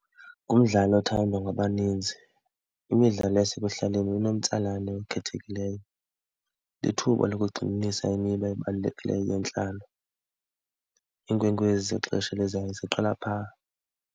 Ngumdlalo othandwa ngabaninzi. Imidlalo yasekuhlaleni inomtsalane ekhethekileyo, lithuba lokugxininisa imiba ebalulekileyo yentlalo. Iinkwenkwezi zexesha elizayo ziqala phaa.